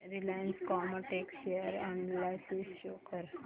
Reliance Chemotex share analysis show कर